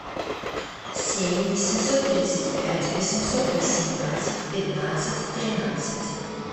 семь восемьсот тридцать пять восемьсот восемнадцать пятнадцать тринадцать